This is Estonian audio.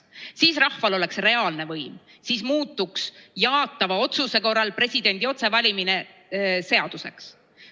Siis rahval oleks reaalne võim, siis muutuks jaatava otsuse korral presidendi otsevalimine seaduseks.